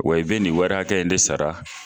Wa i be nin wari hakɛ in de sara